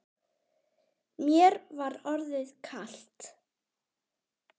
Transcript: Mér var orðið kalt.